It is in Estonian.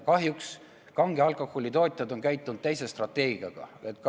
Kahjuks kange alkoholi tootjad on lähtunud teisest strateegiast.